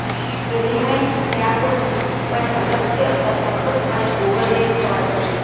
elements ક્યાં તો નિશ્ચિતપણે અલગ છે અથવા ચોક્કસપણે ઓવરલેપ થવા જોઈએ